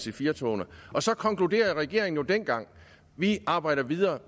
ic4 togene og så konkluderede regeringen jo dengang vi arbejder videre